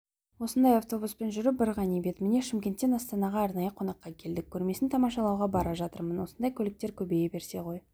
осындай автобуспен жүру бір ғанибет міне шымкенттен астанаға арнайы қонаққа келдік көрмесін тамашалауға бара жатырмын осындай көліктер көбейе берсе ғой